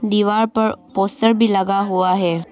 दीवार पर पोस्टर भी लगा हुआ है।